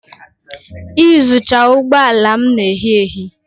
Iyuzucha ụgbọ ala m na ehi ehi.